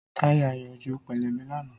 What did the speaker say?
Táyà Ayo jo pẹlẹbẹ lánàá